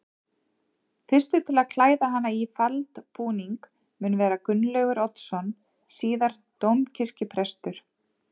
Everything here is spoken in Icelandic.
Fyrstur til að klæða hana í faldbúning mun vera Gunnlaugur Oddsson síðar dómkirkjuprestur.